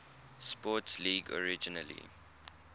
sports league originally